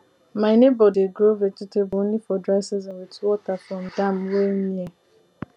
my neighbour dey grow vegetable only for dry season with water from dam wey near